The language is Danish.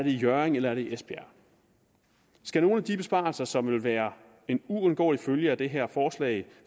i hjørring eller i esbjerg skal nogle af de besparelser som vil være en uundgåelig følge af det her forslag